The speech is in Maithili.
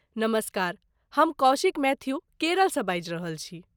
नमस्कार, हम कौशिक मैथ्यू, केरलसँ बाजि रहल छी ।